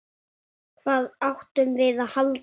Hvað áttum við að halda?